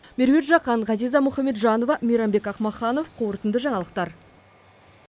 меруерт жақан ғазиза мұхамеджанова мейрамбек ақмаханов қорытынды жаңалықтар